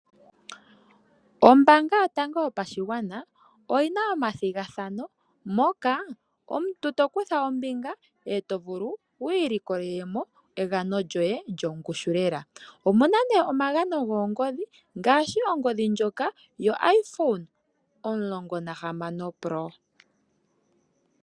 Ombaanga yotango yopashigwana , oyina omathigathano moka omuntu to tokutha ombinga eto vulu wiilikolele mo egano lyoye lyongushu lela . Omuna omagano goongoodhi ngaashi ongodhi ndjoka yoIphone 16.